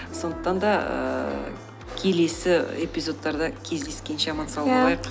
сондықтан да ііі келесі эпизодтарда кездескенше аман сау болайық